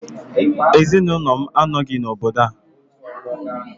Ezinụlọ m anọghị n'obodo a